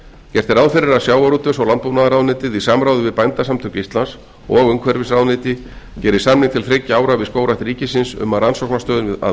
gert er ráð fyrir að sjávarútvegs og landbúnaðarráðuneytið í samráði við bændasamtök íslands og umhverfisráðuneyti geri samning til þriggja ára við skógrækt ríkisins um rannsóknastöðin að